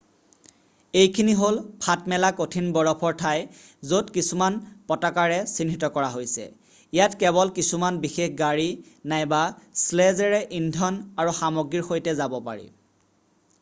এইখিনি হ'ল ফাঁট মেলা কঠিন বৰফৰ ঠাই য'ত কিছুমান পতাকাৰে চিহ্নিত কৰা হৈছে ইয়াত কেৱল কিছুমান বিশেষ গাড়ী নাইবা শ্লেজেৰে ইন্ধন আৰু সামগ্ৰীৰ সৈতে যাব পাৰি